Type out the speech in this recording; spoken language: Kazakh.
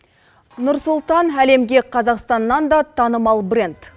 нұр сұлтан әлемге қазақстаннан да танымал бренд